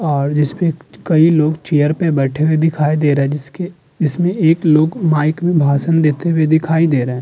और जिसपे कही लोग चेयर पे बैठे हुऐ दिखाई दे रहे हैं। । जिसके जिसमे एक लोग माइक में भाषण देते हुऐ दिखाई दे रहे हैं।